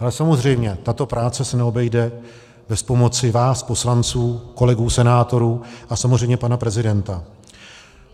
Ale samozřejmě tato práce se neobejde bez pomoci vás poslanců, kolegů senátorů a samozřejmě pana prezidenta.